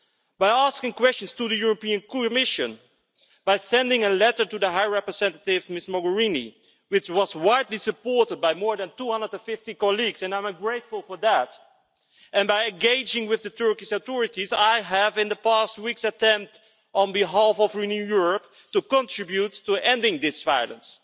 By asking questions to the European Commission, by sending a letter to the High Representative Ms Mogherini, which was widely supported by more than 250 colleagues and I am grateful for that and by engaging with the Turkish authorities, I have in the past weeks attempted on behalf of Renew Europe to contribute to ending this violence.